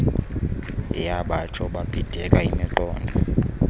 yabatsho babhideka imiqondo